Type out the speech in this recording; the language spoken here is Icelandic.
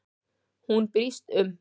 Hún brýst um.